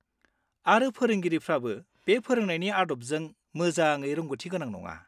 आरो फोरोंगिरिफ्राबो बे फोरोंनायनि आदबजों मोजाङै रोंग'थिगोनां नङा।